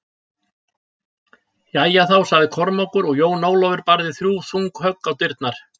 Jæja þá, sagði Kormákur og Jón Ólafur barði þrjú þung högg á dyrnar.